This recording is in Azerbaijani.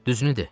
Düzünü de.